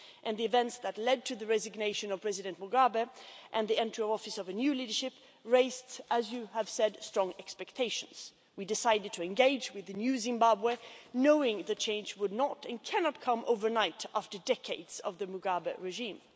The events that led to the resignation of President Mugabe and to the entry into office of a new leadership, raised, as you have said, high expectations. We decided to engage with the new Zimbabwe knowing that change would not and cannot come overnight after decades of the Mugabe regime.